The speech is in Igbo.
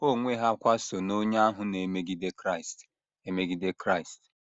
Ha onwe ha kwa so n’onye ahụ na - emegide Kraịst. emegide Kraịst.